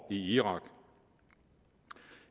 i irak